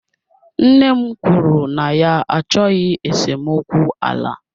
Nne m kwuru na ya achọghị esemokwu ala.